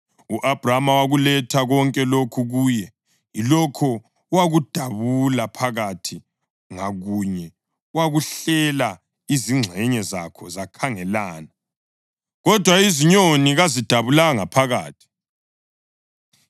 U-Abhrama wakuletha konke lokhu kuye, yilokho wakudabula phakathi ngakunye wakuhlela izingxenye zakho zakhangelana; kodwa izinyoni kazidabulanga phakathi.